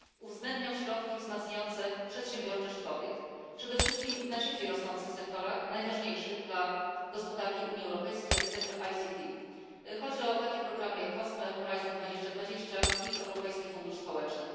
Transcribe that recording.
uwzględniał środki wzmacniające przedsiębiorczość kobiet przede wszystkim w najszybciej rosnących sektorach, najważniejszych dla gospodarki Unii Europejskiej, jak sektor ICT. Chodzi o takie programy jak COSME, HORYZONT 2020, Europejski Fundusz Społeczny.